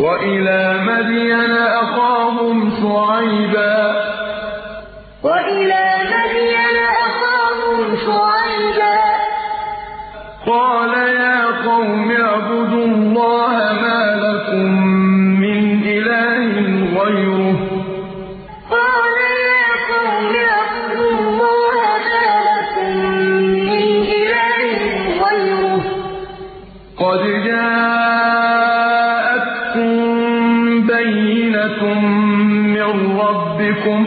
وَإِلَىٰ مَدْيَنَ أَخَاهُمْ شُعَيْبًا ۗ قَالَ يَا قَوْمِ اعْبُدُوا اللَّهَ مَا لَكُم مِّنْ إِلَٰهٍ غَيْرُهُ ۖ قَدْ جَاءَتْكُم بَيِّنَةٌ مِّن رَّبِّكُمْ ۖ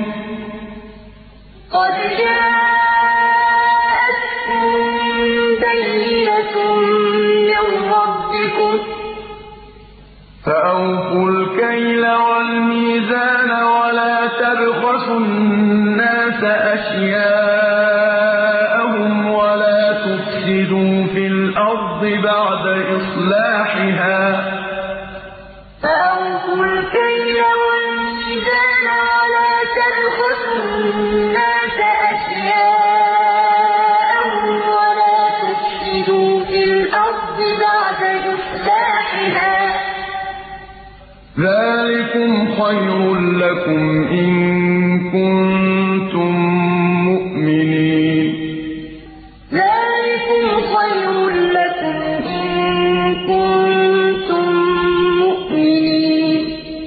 فَأَوْفُوا الْكَيْلَ وَالْمِيزَانَ وَلَا تَبْخَسُوا النَّاسَ أَشْيَاءَهُمْ وَلَا تُفْسِدُوا فِي الْأَرْضِ بَعْدَ إِصْلَاحِهَا ۚ ذَٰلِكُمْ خَيْرٌ لَّكُمْ إِن كُنتُم مُّؤْمِنِينَ وَإِلَىٰ مَدْيَنَ أَخَاهُمْ شُعَيْبًا ۗ قَالَ يَا قَوْمِ اعْبُدُوا اللَّهَ مَا لَكُم مِّنْ إِلَٰهٍ غَيْرُهُ ۖ قَدْ جَاءَتْكُم بَيِّنَةٌ مِّن رَّبِّكُمْ ۖ فَأَوْفُوا الْكَيْلَ وَالْمِيزَانَ وَلَا تَبْخَسُوا النَّاسَ أَشْيَاءَهُمْ وَلَا تُفْسِدُوا فِي الْأَرْضِ بَعْدَ إِصْلَاحِهَا ۚ ذَٰلِكُمْ خَيْرٌ لَّكُمْ إِن كُنتُم مُّؤْمِنِينَ